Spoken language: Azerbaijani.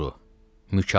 Mükalimə.